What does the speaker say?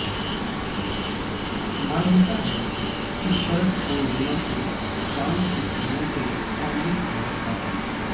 मान्यता है कि शरद पूर्णिमा को चांद की किरणों से अमृत बरसता है